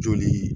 Joli